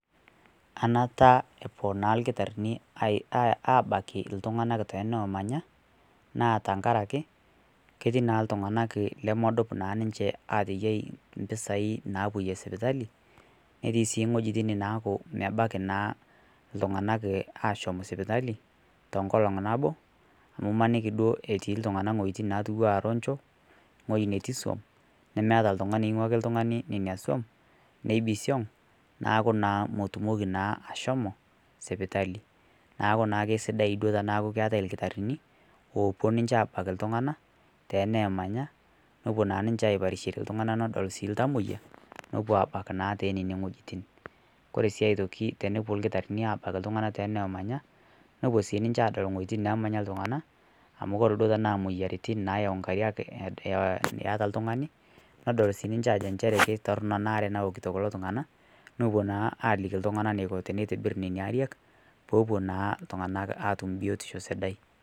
Anata epuo naa lkitarinii abaki ltung'anak tenomanyaa naa tankarakee ketii naa ltung'anak lemodup naa ninshe ateyai mpisai napoyee sipitalii netii sii ng'ojitin naaku mebakii naa ltung'anak ashom sipitalii tonkolong' naboo amu imanikii duo etii ltung'anak ng'hojitin natuwaa ronjoo ng'ojii netii suom nemeata ltungani eing'uakii ltung'ani nenia suom neibisiong' naaku naa motumokii naa ashomoo sipitalii naaku naa keisidai duo tanaaku keatai lkitarinii opuo ninshee abakii ltung'anaa tenemanya nopuo naa ninshe aiparishere ltung'ana nedol sii ltamoyaa nopuo abaki naa tenenia ng'ojitin. Kore sii aitokii tonopuo lkitarinii abakii ltung'ana tenoomanya nopuo sii ninshe adol nghojitin namanya ltung'anaa amu kore duo tanaa moyaritin nayau nkariak iataa ltung'ani nedol sii ninshee ajoo enshere keitornoo anaa aree nawokitoo kuloo tung'anaa nopuo naa alikii ltung'ana neiko teneitibir nenia ariak poopuo naa ltung'anak atum biotishoo sidai.